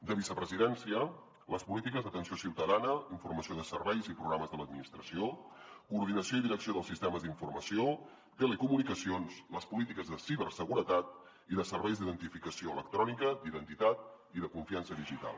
de vicepresidència les polítiques d’atenció ciutadana informació de serveis i programes de l’administració coordinació i direcció dels sistemes d’informació i telecomunicacions les polítiques de ciberseguretat i de serveis d’identificació electrònica d’identitat i de confiança digital